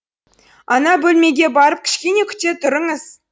ана бөлмеге барып кішкене күте тұрыңыз